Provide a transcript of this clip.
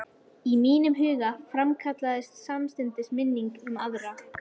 Í huga mínum framkallaðist samstundis minning um aðra